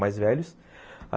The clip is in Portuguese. Mais velhos.